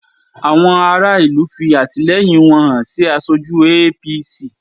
Àwọn ará ìlú fi àtìlẹyìn wọn hàn sí aṣojú APC